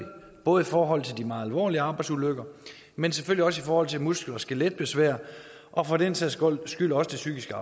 både i forhold til de meget alvorlige arbejdsulykker men selvfølgelig også i forhold til muskel og skeletbesvær og for den sags skyld også det psykiske